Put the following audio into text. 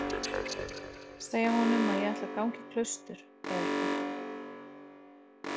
Segja honum að ég ætli að ganga í klaustur, eða eitthvað.